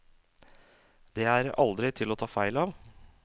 Det er aldri til å ta feil av.